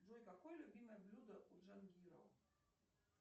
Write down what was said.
джой какое любимое блюдо у джангирова